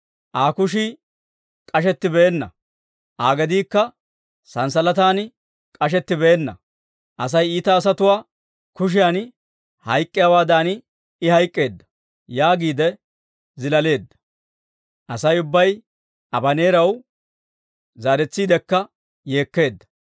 Aa kushii k'ashetti beenna; Aa gediikka sanssalatan k'ashetti beenna. Asay iita asatuwaa kushiyan hayk'k'iyaawaadan I hayk'k'eedda» yaagiide zilaaleedda. Asay ubbay Abaneeraw zaaretsiidekka yeekkeedda.